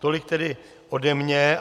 Tolik tedy ode mne.